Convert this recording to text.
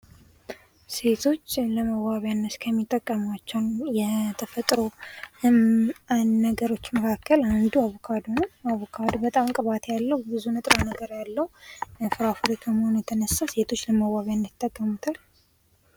ሴቶች ለመዋቢያነት ከሚጠቀሟቸው የተፈጥሮ ነገሮች መካከል አንዱ አቮካዶ ነው። አቮካዶ በጣም ቅባት ያለው ንጥረ ነገር ያለው ፍራፍሬ ከመሆኑ የተነሳ ሴቶች ለመዋቢያነት ይጠቀሙታል።